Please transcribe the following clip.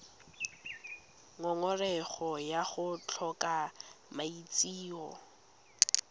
ngongorego ya go tlhoka maitseo